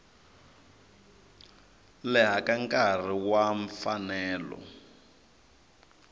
leha ka nkarhi wa mfanelo